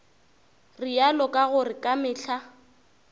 realo ka gore ka mehla